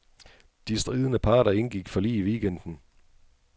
De stridende parter indgik forlig i weekenden.